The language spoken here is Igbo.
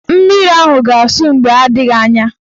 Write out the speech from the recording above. Mmiri ahụ ga-asụ mgbe adịghị anya.